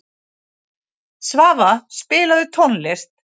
Svafa, spilaðu tónlist.